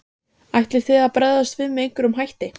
Helga: Ætlið þið að bregðast við með einhverjum hætti?